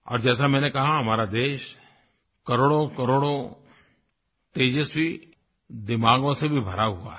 और जैसा मैंने कहा हमारा देश करोड़ों करोड़ों तेजस्वी दिमागों से भी भरा हुआ है